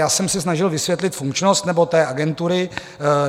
Já jsem se snažil vysvětlit funkčnost - nebo té agentury...